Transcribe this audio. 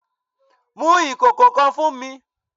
Mu ikoko kan fun mi!